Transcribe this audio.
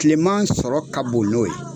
Tileman sɔrɔ ka bon n'o ye.